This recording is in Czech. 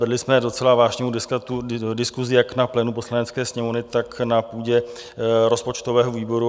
Vedli jsme docela vážnou diskusi jak na plénu Poslanecké sněmovny, tak na půdě rozpočtového výboru.